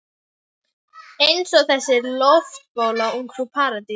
Eins og þessi loftbóla Ungfrú Paradís.